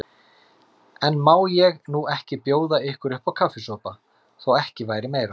En má ég nú ekki bjóða ykkur uppá kaffisopa, þó ekki væri meira.